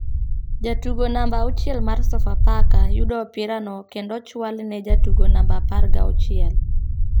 Jatugo namba auchiel mar sofa faka yudo opira no kendo ochwale ne jatugo namba apar ga chuiel ,